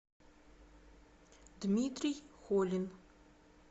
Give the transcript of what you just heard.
дмитрий холин